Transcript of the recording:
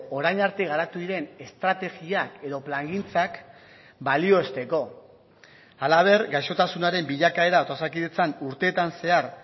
orain arte garatu diren estrategiak edo plangintzak balioesteko halaber gaixotasunaren bilakaera eta osakidetzan urteetan zehar